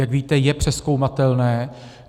Jak víte, je přezkoumatelné.